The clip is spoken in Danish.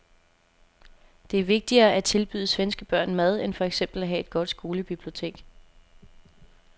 Det er vigtigere at tilbyde svenske børn mad end for eksempel at have et godt skolebibliotek.